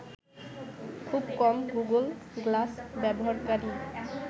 খুব কম Google Glass ব্যবহারকারীই